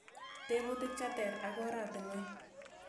Tebutik che ter ak oratinwek